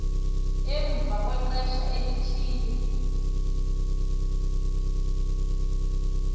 emva kwexesha elithile